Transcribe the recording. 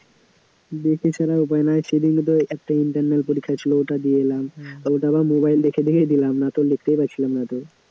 দেখে ছাড়া উপায় নাই, সেদিনও তো একটা internal পরীক্ষা ছিল, ওটা দিয়ে এলাম, ওটা আবার mobile দেখে দেখেই দিলাম, নয়ত লিখতেই পারছিলাম না তো